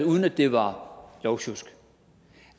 uden at det var lovsjusk